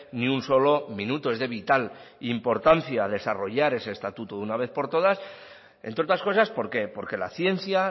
ni un solo minuto es de vital importancia desarrollar ese estatuto de una vez por todas entre otras cosas por qué porque la ciencia